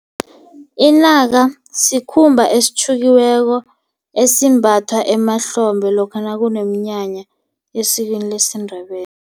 Inaka sikhumba esitjhukiweko esimbathwa emahlombe lokha nakuneminyanya esikweni lesiNdebele.